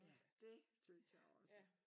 Ja det synes jeg også